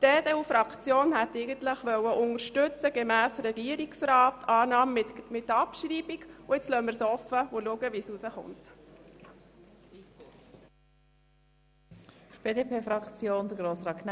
Die EDU-Fraktion wollte den Vorstoss eigentlich gemäss Regierungsrat unterstützen und die Motion annehmen und gleichzeitig abschreiben.